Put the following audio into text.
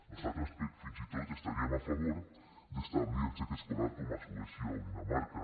nosaltres fins i tot estaríem a favor d’establir el xec escolar com a suècia o dinamarca